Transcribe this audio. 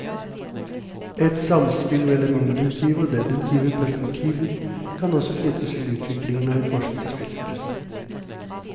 Et samspill mellom induktive og deduktive perspektiver kan også knyttes til utviklingen av et forskningsfelt.